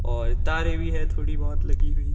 और तारे भी है थोड़ी बहोत लगी हुई।